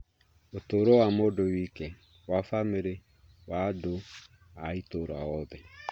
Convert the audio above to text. ũtũũro wa mũndũ wike, wa bamĩrĩ, na wa andũ a itũũra othe.